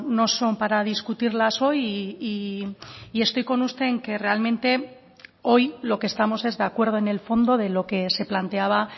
no son para discutirlas hoy y estoy con usted en que realmente hoy lo que estamos es de acuerdo en el fondo de lo que se planteaba